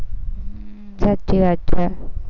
હમ સાચી વાત છે.